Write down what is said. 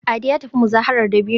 Ade ya tafi muzaharar dabino